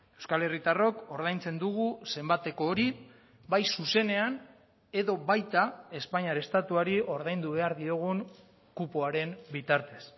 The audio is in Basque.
euskal herritarrok ordaintzen dugu zenbateko hori bai zuzenean edo baita espainiar estatuari ordaindu behar diogun kupoaren bitartez